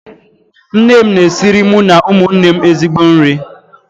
Nne m na-esiri mụ na ụmụnne m ezigbo nri